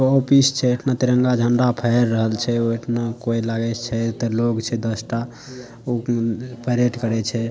तिरंगा झंडा फहेर रहल छै। उ लागै छै ओता लोग छै दसटा उ परेड करे छै ।